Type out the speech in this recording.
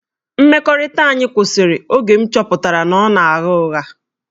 Mmekọrịta anyị kwụsịrị oge m chọpụtara na ọ na-agha ụgha